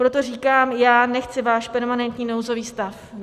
Proto říkám, já nechci váš permanentní nouzový stav.